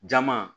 Jama